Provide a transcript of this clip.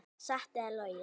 Satt eða logið.